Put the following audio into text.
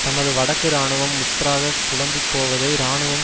தமது வடக்கு இராணுவம் முற்றாக குழம்பி போவதை இராணுவம்